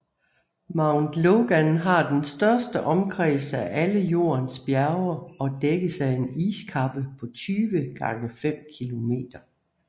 Mount Logan har den største omkreds af alle Jordens bjerge og dækkes af en iskappe på 20x5 km